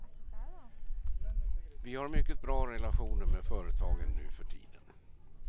Vi har mycket bra relationer med företagen nu för tiden.